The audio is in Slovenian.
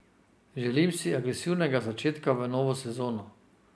Želim si agresivnega začetka v novo sezono.